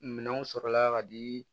Minɛnw sɔrɔla ka di